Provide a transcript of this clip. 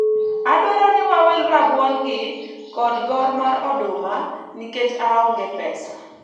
adwaro ni wawil rabuon gi kod gor mar oduma nikech aonge pesa